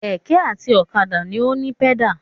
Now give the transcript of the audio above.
Kẹ̀kẹ́ àti ọ̀kadà ni ó ní pẹ́dà.